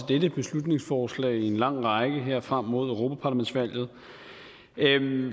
dette beslutningsforslag i en lang række her frem mod europaparlamentsvalget